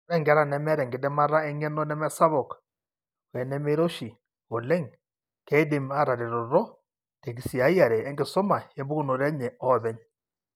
Ore inkera nemeeta enkidimata eng'eno nemesapuk oenemeiroshi oleng keidim aataretoto tenkisiayiare enkisuma empukunoto enye openy.